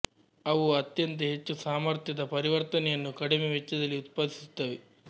ಅವು ಅತ್ಯಂತ ಹೆಚ್ಚು ಸಾಮರ್ಥ್ಯದ ಪರಿವರ್ತನೆಯನ್ನು ಕಡಿಮೆ ವೆಚ್ಚದಲ್ಲಿ ಉತ್ಪಾದಿಸುತ್ತವೆ